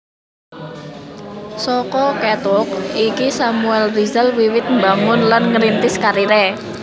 Saka catwalk iki Samuel Rizal wiwit mbangun lan ngrintis kariré